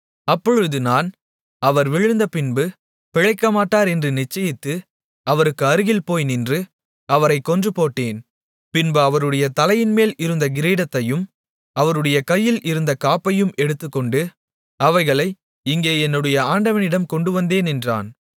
அப்பொழுது நான் அவர் விழுந்த பின்பு பிழைக்கமாட்டார் என்று நிச்சயித்து அவருக்கு அருகில் போய் நின்று அவரைக் கொன்றுபோட்டேன் பின்பு அவருடைய தலையின்மேல் இருந்த கிரீடத்தையும் அவருடைய கையில் இருந்த காப்பையும் எடுத்துக்கொண்டு அவைகளை இங்கே என்னுடைய ஆண்டவனிடம் கொண்டுவந்தேன் என்றான்